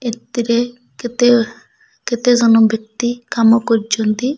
ଏତିରେ କେତେ କେତେ ଜନ ବ୍ୟକ୍ତି କାମ କରୁଛନ୍ତି।